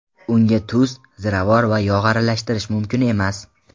Unga tuz, ziravor va yog‘ aralashtirish mumkin emas.